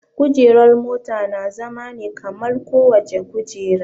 Kujerar mota na zama ne kamar kowace kujera